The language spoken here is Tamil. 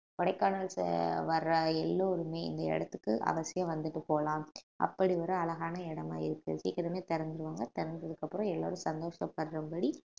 கொடைக்கானல் ச~ வர்ற எல்லோருமே இந்த இடத்துக்கு அவசியம் வந்துட்டு போலாம் அப்படி ஒரு அழகான இடமா இருக்கு சீக்கிரமே திறந்துருவாங்க திறந்ததுக்கு அப்புறம் எல்லாரும் சந்தோஷப்படுறபடி